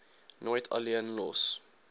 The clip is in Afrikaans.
nooit alleen los